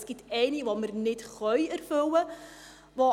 Es gibt eine, die wir nicht erfüllen können.